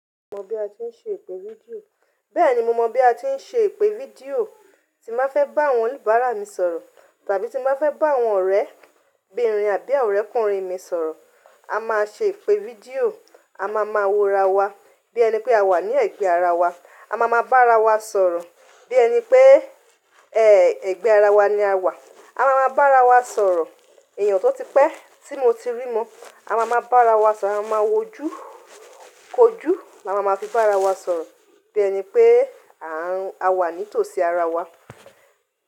Mo mọ bí a ti ń ṣe ìpè fídíò. Bẹ́ẹ̀ ni mo mọ bí a ti ń ṣe ìpè fídíò tí n bá fẹ́ bá àwọn oníbàárà mi sọ̀rọ̀ tàbí tí n bá fẹ́ bá àwọn ọ̀rẹ́bìnrin àbí àwọn ọ̀rẹ́kùnrin mi sọ̀rọ̀. A máa ṣe ìpè fídíò, a máa ma wo ara wa bí ẹni pé a wà ní ẹ̀gbẹ́ ara wa. A máa ma bá ara wa sọ̀rọ̀ bí ẹni pé, ẹ̀gbẹ́ ara wa ni a wà. A máa ma bá ara wa sọ̀rọ̀. Èèyàn tó ti pẹ́ tí mo ti rí mọ́, a máa ma bá ara wa sọ̀rọ̀, a máa ma wojú kojú, a máa ma fi bá ara wa sọ̀rọ̀ bí ẹni pé, a wà ní tòsí ara wa.